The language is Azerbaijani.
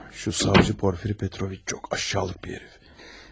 Şu savcı Porfiri Petroviç, çok aşağılık bir herif.